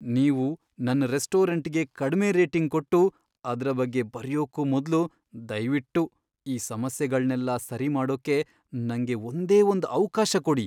ನೀವು ನನ್ ರೆಸ್ಟೋರೆಂಟ್ಗೆ ಕಡ್ಮೆ ರೇಟಿಂಗ್ ಕೊಟ್ಟು ಅದ್ರ ಬಗ್ಗೆ ಬರಿಯೊಕ್ಕೂ ಮೊದ್ಲು ದಯ್ವಿಟ್ಟು ಈ ಸಮಸ್ಯೆಗಳ್ನೆಲ್ಲ ಸರಿ ಮಾಡೋಕ್ಕೆ ನಂಗೆ ಒಂದೇ ಒಂದ್ ಅವ್ಕಾಶ ಕೊಡಿ.